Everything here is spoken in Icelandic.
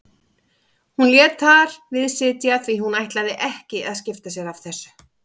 Hún lét þar við sitja því hún ætlaði ekki að skipta sér af þessu.